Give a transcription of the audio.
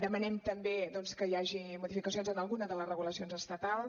demanem també doncs que hi hagi modificacions en alguna de les regulacions estatals